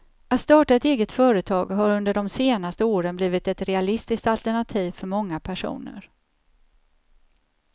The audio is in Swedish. Att starta ett eget företag har under de senaste åren blivit ett realistiskt alternativ för många personer.